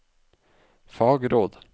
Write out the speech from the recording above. fagråd